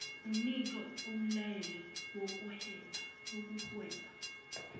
enike umlayelo wokuhweba